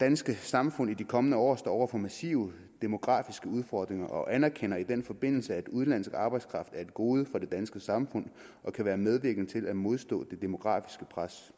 danske samfund i de kommende år står over for massive demografiske udfordringer og anerkender i den forbindelse at udenlandsk arbejdskraft er et gode for det danske samfund og kan være medvirkende til at modstå det demografiske pres